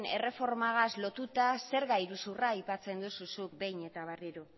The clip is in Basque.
erreformagaz lotuta zerga iruzurra aipatzen duzu zuk behin eta berriro